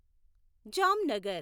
Jamnagar